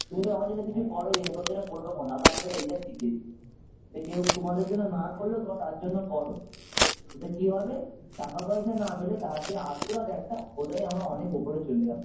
তুমি ধরো আমার জন্য কিছু করইনি আমি তোমার জন্য করবো কেন দাদা আমাদের এইটা শিখিয়েছে যে কেউ তোমাদের জন্য না করলেও তোমরা তার জন্য করো ওতে কি হবে টাকা পয়সা না পেলে তার যে আশীর্বাদ একটা ওটাই আমরা অনেক উপরে চলে যাবো